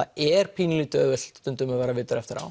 það er pínu auðvelt stundum að vera vitur eftir á